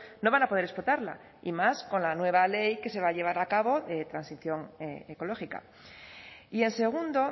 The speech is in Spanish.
no van a poder explotarla y más con la nueva ley que se va a llevar a cabo de transición ecológica y en segundo